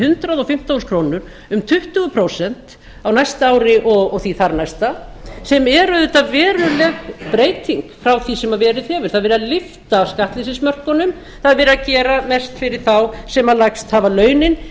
hundrað og fimmtán þúsund krónur um tuttugu prósent á næsta ári og því þar næsta sem er auðvitað veruleg breyting frá því sem verið hefur það er verið að lyfta skattleysismörkunum það er verið að gera mest fyrir þá sem lægst hafa launin